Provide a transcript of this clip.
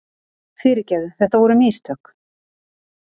Fyrirgefðu, þetta voru. mistök.